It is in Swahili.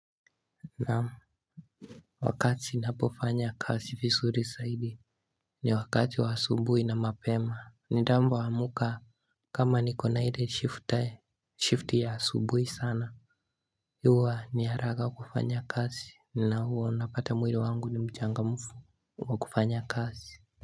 Naam Wakati napofanya kasi visuri saidi ni wakati wa asubui na mapema ni damba wa muka kama ni kona hile shift ya asubui sana Yua ni haraga kufanya kasi na huo unapata mwilo wangu ni mchangamufu wakufanya kasi.